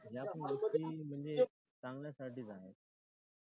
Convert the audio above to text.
या पण गोष्टी म्हणजे चांगल्यासाठीच आहेत.